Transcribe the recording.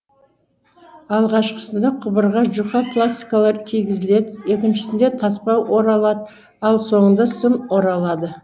алғашқысында құбырға жұқа пластикалар кигізіледі екіншісінде таспа оралады ал соңында сым оралады